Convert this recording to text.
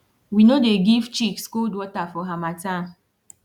we no dey give chicks cold water for harmattan